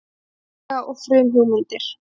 Forsaga og frumhugmyndir.